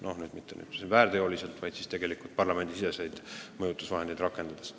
Noh, mitte lausa väärteo eest karistades, vaid parlamendisiseseid mõjutusvahendeid rakendades.